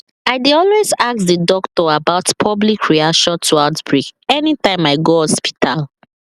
i dey always ask the doctor about public reaction to outbreak anytym i go hospital